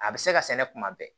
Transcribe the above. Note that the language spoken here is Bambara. A bɛ se ka sɛnɛ kuma bɛɛ